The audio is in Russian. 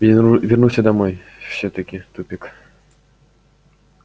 вернулся домой всё-таки тупик